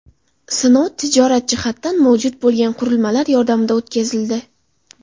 Sinov tijorat jihatdan mavjud bo‘lgan qurilmalar yordamida o‘tkazildi.